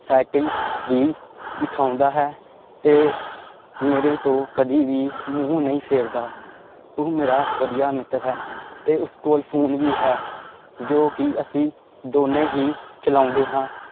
Cycle ਵੀ ਵਿਖਾਉਂਦਾ ਹੈ ਤੇ ਮੇਰੇ ਤੋਂ ਕਦੇ ਵੀ ਮੂੰਹ ਨਹੀਂ ਫੇਰਦਾ, ਉਹ ਮੇਰਾ ਵਧੀਆ ਮਿੱਤਰ ਹੈ ਤੇ ਉਸ ਕੋਲ ਫ਼ੋਨ ਵੀ ਹੈ ਜੋ ਕਿ ਅਸੀਂ ਦੋਨੇਂ ਹੀ ਚਲਾਉਂਦੇ ਹਾਂ।